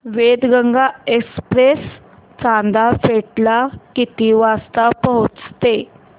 Wainganga express Chanda fort ला किती वाजता पोहचते